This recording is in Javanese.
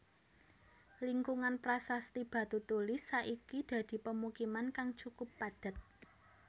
Lingkungan Prasasti Batutulis saiki dadi pemukiman kang cukup padhet